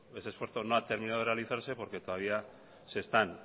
ese esfuerzo no ha terminado de realizarse porque todavía se están